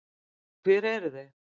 Því hver eru þau?